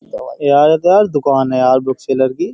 यार ये तो यार दुकान है बुकसेलर की।